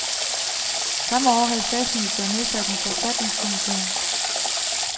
Samme år havde statsministeren nedsat en forfatningskommission.